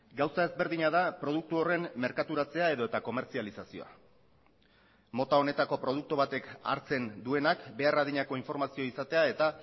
gauza ezberdina da produktu horren merkaturatzea edota komertzializazioa mota honetako produktu batek hartzen duenak behar adinako informazioa izatea eta